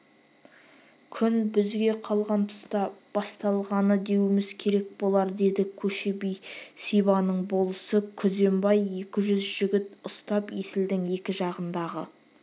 күн бізге қалған тұста басталғаны деуіміз керек болар деді көшебе-сибанның болысы күзембай екі жүз жігіт ұстап есілдің екі жағындағы